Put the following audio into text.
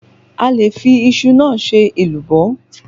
A le fi iṣu náà ṣe èlùbọ́